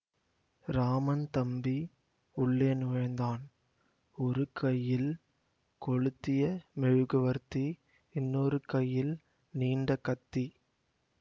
ராமன் தம்பி உள்ளே நுழைந்தான் ஒரு கையில் கொளுத்திய மெழுகுவர்த்தி இன்னொரு கையில் நீண்ட கத்தி